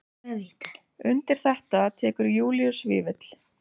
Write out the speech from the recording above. Undir þetta tekur Júlíus Vífill.